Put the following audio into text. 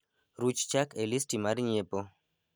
Ruch Chak e listi mar nyiepo